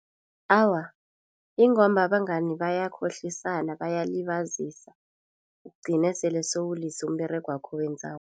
Awa, ingomba abangani bayakhohlisana bayalibazisa ugcine sele sowulise umberegwakho owenzako.